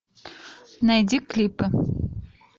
найди клипы